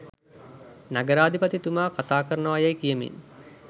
නගරාධිපතිතුමා කථාකරනවායැයි කියමින්